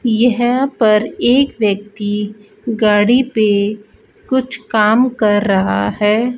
यहां पर एक व्यक्ति गाड़ी पे कुछ काम कर रहा है।